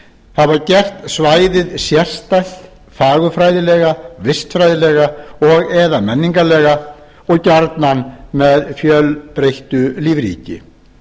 hafa gert svæðið sérstætt fagurfræðilega vistfræðilega og eða menningarlega og gjarnan með mjög fjölbreyttu lífríki